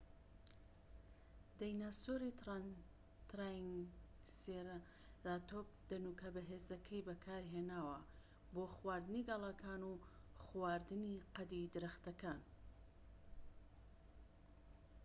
دایناسۆری ترایسێراتۆپ دەنوکە بەهێزەکەی بەکارهێناوە بۆ خواردنی گەڵاکان و خواردنی قەدی درەختەکە